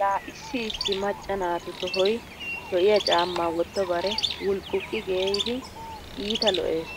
La issi issi macca naatu tohoy lo'iya caammaa wottobare wulqquqqi geeyidi iita lo'ees.